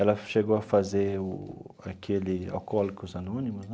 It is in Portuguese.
Ela chegou a fazer o aquele alcoólicos anônimos, né?